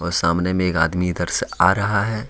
सामने में एक आदमी इधर से आ रहा है।